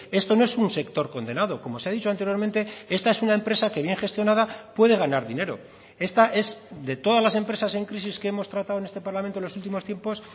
esto no es un sector condenado como se ha dicho anteriormente esta es una empresa que bien gestionada puede ganar dinero esta es de todas las empresas en crisis que hemos tratado en este parlamento en los últimos tiempos